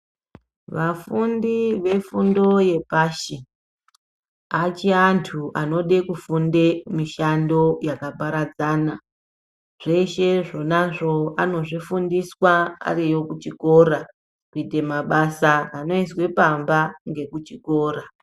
Afundi efundo yepashi achiri antu anode kufunde mishando yakaparadzana. Zveshe zvonazvo anozvifundiswa aariyo kuchikora kuite mabasa anoizwe pamba ngekuchikora.